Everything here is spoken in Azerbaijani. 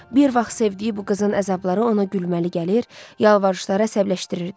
Bir vaxt sevdiyi bu qızın əzabları ona gülməli gəlir, yalvarışları əsəbləşdirirdi.